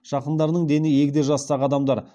жақындарының дені егде жастағы адамдар